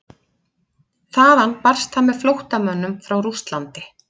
Þaðan barst það með flóttamönnum frá Rússlandi.